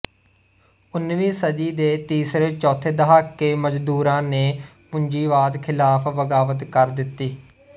ਉਨੀਵੀੰ ਸਦੀ ਦੇ ਤੀਸਰੇ ਚੌਥੇ ਦਹਾਕੇ ਮਜ਼ਦੂਰਾਂ ਨੇ ਪੂੰਜੀਵਾਦ ਖਿਲਾਫ਼ ਬਗਾਵਤ ਕਰ ਦਿੱਤੀ